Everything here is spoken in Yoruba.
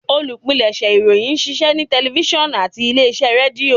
Olupilẹṣẹ ìròyìn n ṣiṣẹ ni tẹlifisiọnu ati ile-iṣẹ Redio